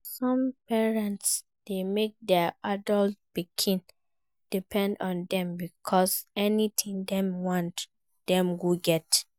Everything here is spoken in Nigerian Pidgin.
Some parents de make their adult pikin depend on them because anything dem want dem go get